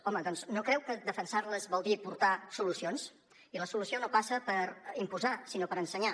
home doncs no creu que defensar les vol dir aportar solucions i la solució no passa per imposar sinó per ensenyar